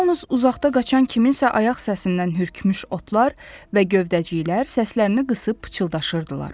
Yalnız uzaqda qaçan kiminsə ayaq səsindən hürkmuş otlar və gövdəciklər səslərini qısıb pıçıldaşırdılar.